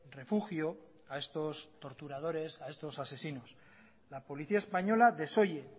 refugio a estos torturadores a estos asesinos la policía española desoye